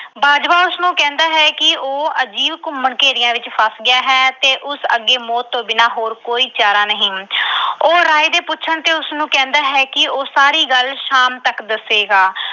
ਬਾਜਵਾ ਉਸਨੂੰ ਕਹਿੰਦਾ ਹੈ ਕਿ ਉਹ ਅਜੀਬ ਘੁੰਮਣ-ਘੇਰੀਆਂ ਵਿੱਚ ਫਸ ਗਿਆ ਹੈ ਤੇ ਉਸ ਅੱਗੇ ਮੌਤ ਤੋਂ ਬਿਨਾਂ ਹੋਰ ਕੋਈ ਚਾਰਾ ਨਹੀਂ। ਉਹ ਰਾਏ ਦੇ ਪੁੱਛਣ ਤੇ ਕਹਿੰਦਾ ਹੈ ਕਿ ਉਸਨੂੰ ਕਹਿੰਦਾ ਹੈ ਕਿ ਉਹ ਸਾਰੀ ਗੱਲ ਸ਼ਾਮ ਤੱਕ ਦੱਸੇਗਾ।